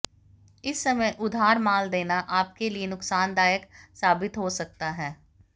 इस समय उधार माल देना आपके लिए नुकसानदायक साबित हो सकता है